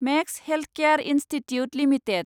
max healthcare institute limited